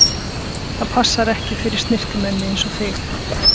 Það passar ekki fyrir snyrtimenni einsog þig.